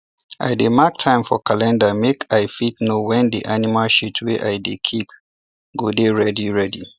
i dey mark time for calendar make i fit know when the animal shit wey i dey keep go dey ready ready